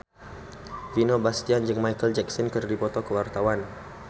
Vino Bastian jeung Micheal Jackson keur dipoto ku wartawan